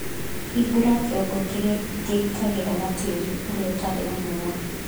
Hingũra kĩongo kĩrĩa kĩgitagĩra na tĩĩri ũrĩa ũtarĩ na hinya.